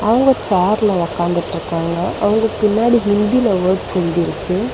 மூணு சேர்ல ஒக்காந்துட்ருக்காங்க அவங்களுக்கு பின்னாடி ஹிந்தில வொட்ஸ் எழுதிருக்கு.